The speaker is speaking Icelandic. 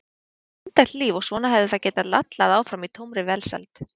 Þetta var indælt líf og svona hefði það getað lallað áfram í tómri velsæld.